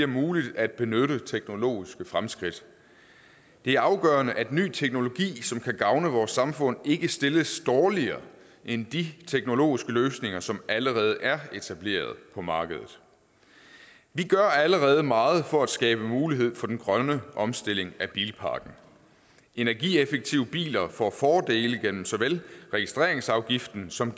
muligt at benytte teknologiske fremskridt det er afgørende at ny teknologi som kan gavne vores samfund ikke stilles dårligere end de teknologiske løsninger som allerede er etableret på markedet vi gør allerede meget for at skabe mulighed for den grønne omstilling af bilparken energieffektive biler får fordele igennem såvel registreringsafgiften som